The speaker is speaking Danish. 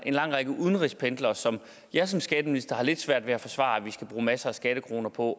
en lang række udenrigspendlere som jeg som skatteminister har lidt svært ved at forsvare at vi skal bruge masser af skattekroner på